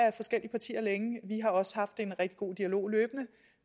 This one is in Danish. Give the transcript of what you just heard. af forskellige partier vi har også haft en rigtig god dialog løbende